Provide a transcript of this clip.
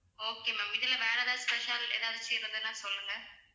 okay ma'am இதுல வேற எதாவது special எதாச்சு இருந்ததுனா சொல்லுங்க